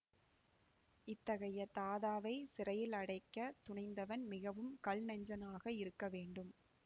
இத்தகைய தாதாவைச் சிறையில் அடைக்கத் துணிந்தவன் மிகவும் கல் நெஞ்சனாக இருக்கவேண்டும்